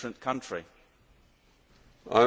I am very happy to answer that.